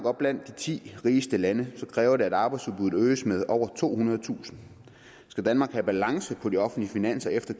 er blandt de ti rigeste lande kræver det at arbejdsudbuddet øges med over tohundredetusind og skal danmark have balance på de offentlige finanser efter